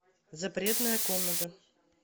запретная комната